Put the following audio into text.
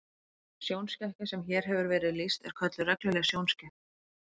Sjónskekkja sem hér hefur verið lýst er kölluð regluleg sjónskekkja.